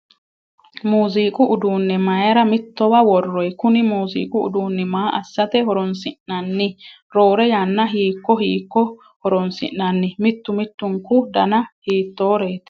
Muuzuqu uduunne mayiira mittowa worroyi? Kuni muuziqu uduunni maa assate horonsi'nanni? Roore yanna hiikko hiikko horonsi'nanni? Mittu mittunku Dana hiittoreeti?